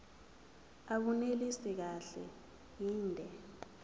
abunelisi kahle inde